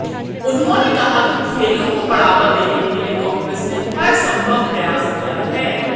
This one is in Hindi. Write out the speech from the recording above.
उन्होंने कहा कि खेलों को बढ़ावा देने के लिए कांग्रेस ने हरसंभव प्रयास किया है